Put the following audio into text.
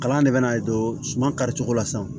Kalan de bɛna don suman kari cogo la sisan